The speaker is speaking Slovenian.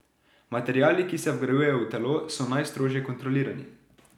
Materiali, ki se vgrajujejo v telo, so najstrožje kontrolirani.